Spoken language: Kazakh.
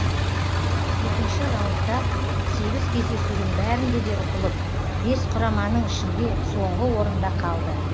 екінші раундта сегіз кездесудің бәрінде де ұтылып бес құраманың ішінде соңғы орында қалды